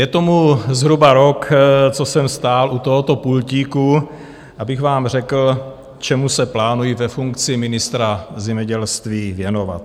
Je tomu zhruba rok, co jsem stál u tohoto pultíku, abych vám řekl, čemu se plánuji ve funkci ministra zemědělství věnovat.